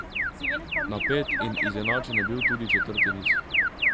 Napet in izenačen je bil tudi četrti niz.